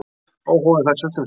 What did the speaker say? Óhófið fær sult um síðir.